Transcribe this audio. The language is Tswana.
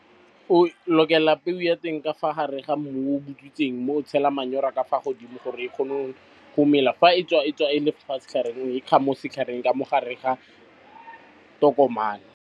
O lokela peo ya teng ka fa gare ga mmu o butswitseng mme o tshela manyora ka fa godimo gore e kgone go mela fa e tswa, e tswa e le fa setlhareng o ekga mo setlhareng ka mo gare ga tokomane.